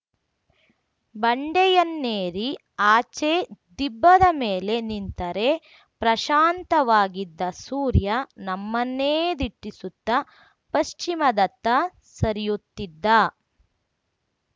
ಬಂಡೆಯನ್ನೇರಿ ಆಚೆ ದಿಬ್ಬದ ಮೇಲೆ ನಿಂತರೆ ಪ್ರಶಾಂತವಾಗಿದ್ದ ಸೂರ್ಯ ನಮ್ಮನ್ನೇ ದಿಟ್ಟಿಸುತ್ತ ಪಶ್ಚಿಮದತ್ತ ಸರಿಯುತ್ತಿದ್ದ